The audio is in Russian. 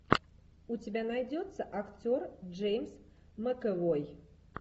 у тебя найдется актер джеймс макэвой